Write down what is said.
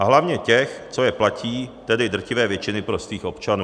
A hlavně těch, co je platí, tedy drtivé většiny prostých občanů.